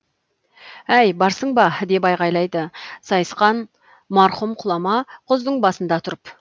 әй барсың ба деп айғайлады сайысқан марқұм құлама құздың басында тұрып